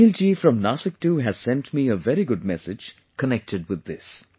Snehil ji from Nasik too has sent me a very good message connected with this